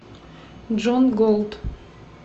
джон голт